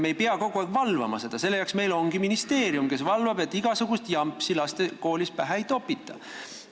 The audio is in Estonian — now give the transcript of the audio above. Meie ei pea kogu aeg valvama, selle jaoks on meil ministeerium, kes valvab, et lastele koolis igasugust jampsi pähe ei topita.